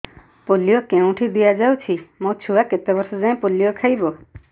polio କେଉଁଠି ଦିଆଯାଉଛି ମୋ ଛୁଆ କେତେ ବର୍ଷ ଯାଏଁ ପୋଲିଓ ଖାଇବ